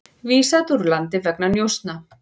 Vísað úr landi vegna njósna